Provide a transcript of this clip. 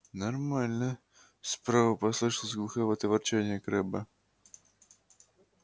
нормально справа послышалось глуховатое ворчание крэбба